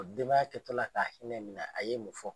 denbaya jat'o la k'a hinɛ minɛ a ye mun fɔ.